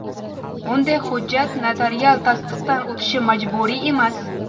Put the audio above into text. Bunday hujjat notarial tasdiqdan o‘tishi majburiy emas.